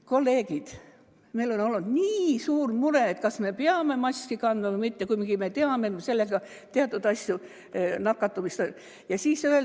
Kolleegid, meil on olnud nii suur mure, kas me peame maski kandma või mitte, kuigi me teame, et me sellega teatud nakatumist.